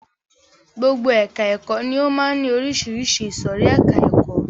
Gbogbo ẹka ẹ̀kọ́ ni ó máa ń ní oríṣiríṣi ìsòrí ẹka ẹ̀kọ́.